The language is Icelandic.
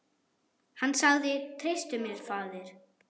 Hann sagði: Treystu mér, faðir.